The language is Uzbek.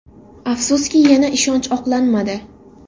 Afsuski, yana ishonch oqlanmadi.